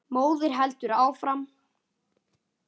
Móðirin heldur áfram.